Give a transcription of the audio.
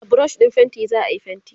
da brush ɗin fainti zaayi fainti